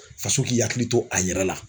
Faso k'i hakili to a yɛrɛ la